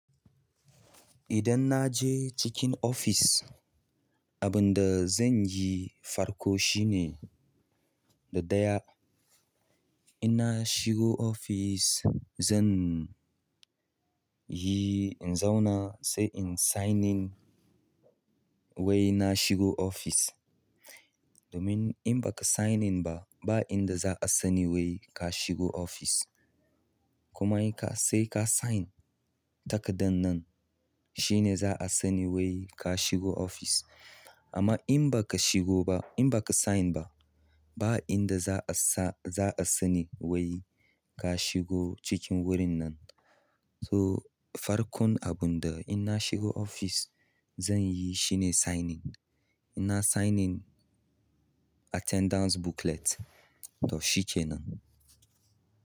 Idan na je cikin ofis, abin da zan yi farko shine, na ɗaya, ina shigo ofis zan yi inzauna sai in sign in wai na shigo ofis domin in baka signing ba, ba inda za a sani wai ka shigo ofis. Kuma sai ka yi sign takardan nan shine za a sani wai ka shigo ofis. Amma in baka shigo ba, in baka sign ba, ba inda za a sa- za a sani wai ka shigo cikin wurin nan. Farkon abinda in na shigo ofis zanyi shine sign in in nayi sign in attendance booklet to shi kenan.